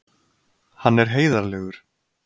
Hann er heiðarlegur.